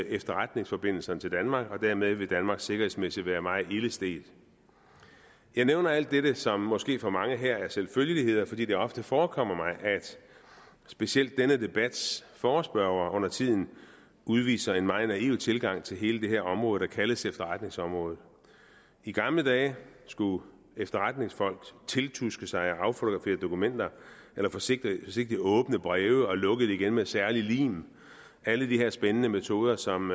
efterretningsforbindelserne til danmark og dermed vil danmark sikkerhedsmæssigt være meget ilde stedt jeg nævner alt dette som måske for mange her er selvfølgeligheder fordi det ofte forekommer mig at specielt denne debats forespørgere undertiden udviser en meget naiv tilgang til hele det her område der kaldes efterretningsområdet i gamle dage skulle efterretningsfolk tiltuske sig og affotografere dokumenter eller forsigtigt åbne breve og lukke dem igen med særlig lim alle de her spændende metoder som